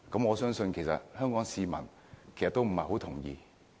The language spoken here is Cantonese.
我相信香港市民都不會同意。